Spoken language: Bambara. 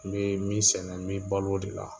N bɛ min sɛnɛ n bɛ bal'o de la.